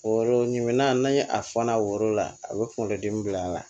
Woro ɲinan ni a fɔ n'a woro la a bɛ kunkolodimi bila a la